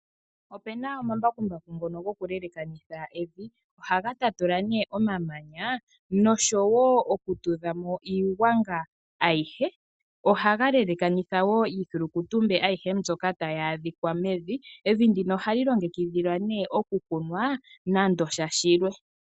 Opuna omambakumbaku ngono gokuyelekanitha evi. Ohaga tatula omamanya noshowoo okutudhamo iigwanga aihe. Ohaga yelekanitha woo iidhilikutumbe aihe mbyoka tayi adhika mevi. Evi ndino ohali longekidhilwa okukunwa kehe shilwe.